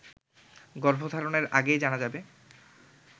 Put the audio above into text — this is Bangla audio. গর্ভধারণের আগেই জানা যাবে